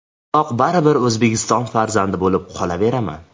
Biroq baribir O‘zbekiston farzandi bo‘lib qolaveraman.